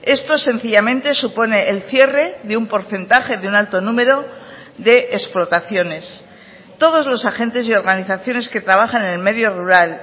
esto sencillamente supone el cierre de un porcentaje de un alto número de explotaciones todos los agentes y organizaciones que trabajan en el medio rural